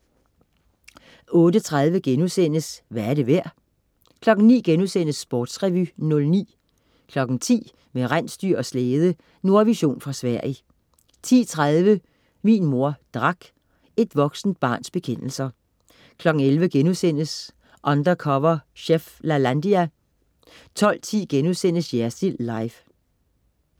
08.30 Hvad er det værd?* 09.00 Sportsrevy 09* 10.00 Med rensdyr og slæde. Nordvision fra Sverige 10.30 Min mor drak. Et voksent barns bekendelser 11.00 Undercover chef, Lalandia* 12.10 Jersild Live*